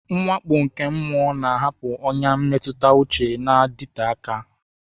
Mwakpo nke mmụọ na-ahapụ ọnyà mmetụta uche na-adịte aka.